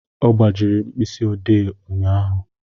Ọ gbajiri m mkpịsị ode ụnyahụ